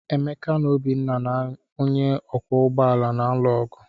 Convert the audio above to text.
Emeka na Obinna na onye ọkwọ ụgbọ ala na-alụ ọgụ.